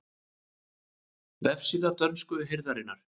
Vefsíða dönsku hirðarinnar